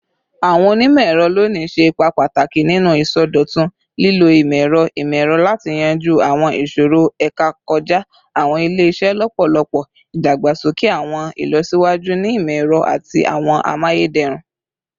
Awọn onimọ-ẹrọ loni ṣe ipa pataki ninu isọdọtun, lilo imọ-ẹrọ imọ-ẹrọ lati yanju awọn iṣoro eka kọja awọn ile-iṣẹ lọpọlọpọ, idagbasoke awọn ilọsiwaju ni imọ-ẹrọ ati awọn amayederun